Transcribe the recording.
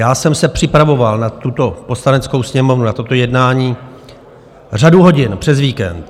Já jsem se připravoval na tuto Poslaneckou sněmovnu, na toto jednání řadu hodin přes víkend.